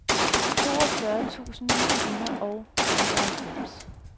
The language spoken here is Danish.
toogfyrre tusind ni hundrede og nioghalvfems